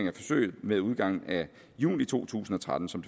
af forsøget med udgangen af juni to tusind og tretten som